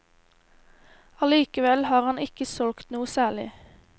Allikevel har han ikke solgt noe særlig.